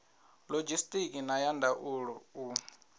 lodzhisitiki na ya ndaulo u